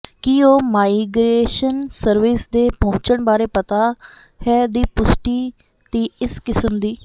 ਕੀ ਉਹ migration service ਦੇ ਪਹੁੰਚਣ ਬਾਰੇ ਪਤਾ ਹੈ ਦੀ ਪੁਸ਼ਟੀ ਦੀ ਇਸ ਕਿਸਮ ਦੀ